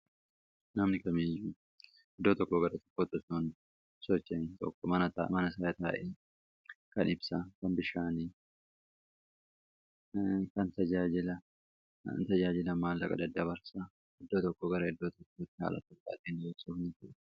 Namni kamiiyyu iddoo tokko gara tokkoo yeroo socho'an mana isaa taa'ee taa'ee kan ibsaa kan bishaanii kan tajaajila maal iddoo tokko gara iddoo tajaaajilama.